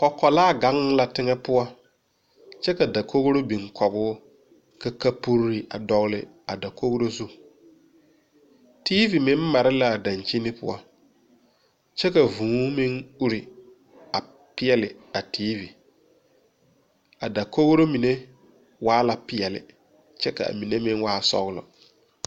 Kɔkɔlaa gaŋ la teŋɛ poɔ kyɛ ka dakogro biŋ kɔguu ka kapure a dɔgle a kogro zu teevi meŋ mare laa daŋkyini poɔ kyɛ ka vūū meŋ ure a peɛɛli a teevi a dakogro mine waala peɛɛli kyɛ kaa mine meŋ waa sɔglɔ.